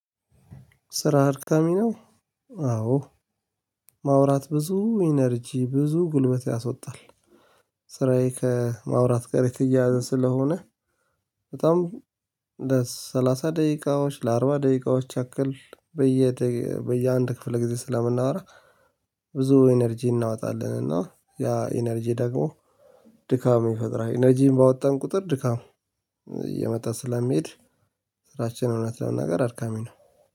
ስራ አድካሚ ነው። አዎ ማውራት ብዙ ኢነርጂ ብዙ ጉልበት ያስወጣል። ስራዬ ከማውራት ጋር የተያያዘ ስለሆነ በጣም ለሰላሳ ደቂቃዎች ለአርባ ደቂቃዎች ያክል በየ በየአንድ ክፍለ ጊዜ ስለምናወራ ብዙ ኢነርጂ እናወጣለን እና ያ ኢነርጂ ደግሞ ድካም ይፈጥራል ኢነርጂን ባወጣን ቁጥር ድካም እየመጣ ስለሚሄድ። ስራችን እውነት ለመናገር አድካሚ ነው።